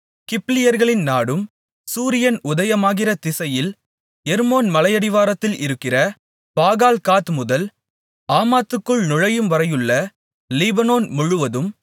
கிப்லியர்களின் நாடும் சூரியன் உதயமாகிற திசையில் எர்மோன் மலையடிவாரத்தில் இருக்கிற பாகால்காத் முதல் ஆமாத்துக்குள் நுழையும்வரையுள்ள லீபனோன் முழுவதும்